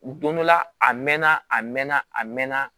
Don dɔ la a mɛn na a mɛnna a mɛn na